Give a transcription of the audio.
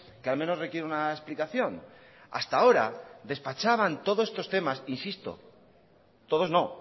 que al menos requiere una explicación hasta ahora despachaban todos estos temas insisto todos no